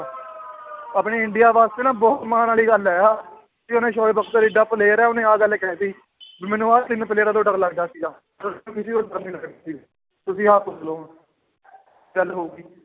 ਆਪਣੇ ਇੰਡੀਆ ਵਾਸਤੇ ਨਾ ਬਹੁਤ ਮਾਣ ਵਾਲੀ ਗੱਲ ਹੈ ਆਹ ਵੀ ਉਹਨੇ ਸੋਏ ਬਖਤਰ ਇੱਡਾ player ਹੈ ਉਹਨੇ ਆਹ ਗੱਲ ਕਹਿ ਦਿੱਤੀ ਵੀ ਮੈਨੂੰ ਆਹ ਤਿੰਨ ਪਲੇਅਰਾਂ ਤੋਂ ਡਰ ਲੱਗਦਾ ਸੀਗਾ ਤੁਸੀਂ ਆਪ ਸੋਚ ਲਓ ਹੁਣ ਗੱਲ ਹੋ ਗਈ